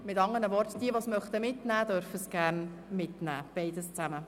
Mit anderen Worten: Wer diesen mitnehmen will, darf diesen gerne mitnehmen, beides zusammen.